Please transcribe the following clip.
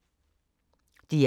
DR1